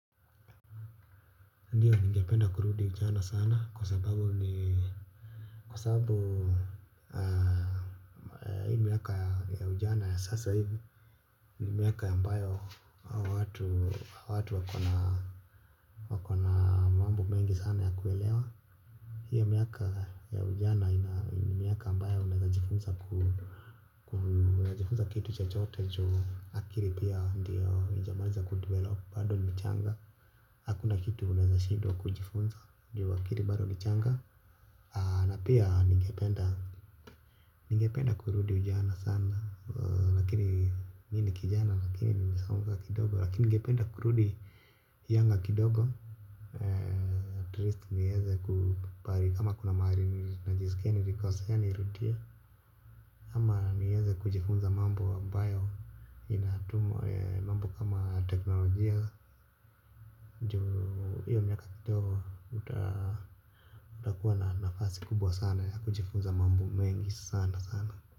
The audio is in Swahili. Ndiyo ningependa kurudi ujana sana kwa sababu ni kwa sababu ya hii miaka ya ujana ya sasa hivu ni miaka ambayo watu watu wakona mambo mengi sana ya kuelewa. Hii miaka ya ujana ni miaka ambayo unaezajifunza kitu chochote juu akili pia ndio ijamaliza kudevelop bado ni mchanga. Hakuna kitu unaezashindwa kujifunza juu akili bado ni changa. Na pia ningependa kurudi ujana sana lkn mimi ni kijana lakini nimesonga kidogo. Lakini ningependa kurudi ujana kidogo Atleast niweze kubali kama kuna mahali najiskia nilikosea nirudie. Ama niweze kujifunza mambo ambayo inatumwa mambo kama teknolojia. Ndoo hiyo miaka kidogo utakuwa na nafasi kubwa sana. Kujifunza mambo mengi sana sana.